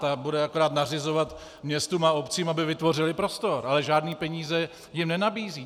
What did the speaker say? Ta bude akorát nařizovat městům a obcím, aby vytvořily prostor, ale žádné peníze jim nenabízí.